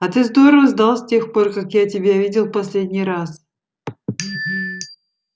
а ты здорово сдал с тех пор как я тебя видел в последний раз